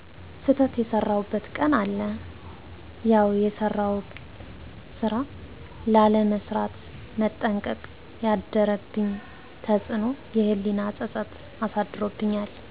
ስተት የሰራሁበት ቀን አለ ያውየሰራሁትን ስራ ላለመስራት መጠንቀቅ ያደረብኝ ተፅእኖ የህሊና ፀፀት አሳድሮብኛል።